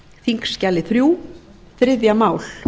þingskjali þrjú þriðja mál